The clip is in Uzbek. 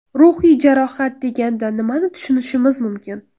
Ruhiy jarohat deganda nimani tushunishimiz mumkin?